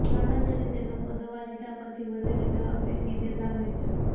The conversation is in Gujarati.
સામાન્ય રીતે લોકો દવા લીધા પછી વધેલી દવા ફેકી દેતા હોય છે